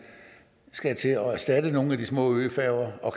skal til at erstatte nogle af de små øfærger og